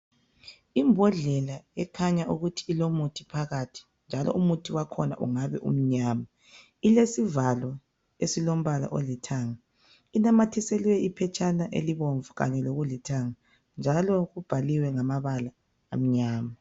Ibhodlela ekhanya ukuthi ilomuthi phakathi, njalo umuthi wakhona wakhona ungabe umnyama. Ilesivalo esilombala olithanga. Inamathiselwe iphetshana elibomvum kanye ngolulithanga, njalo kubhaliwe ngamabala amnyama.